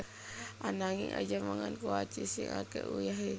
Ananging aja mangan kuaci sing ake uyahe